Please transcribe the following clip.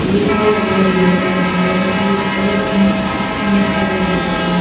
एक रोड दिख रहा है रोड के प ईंट का रोड दिख रहा है।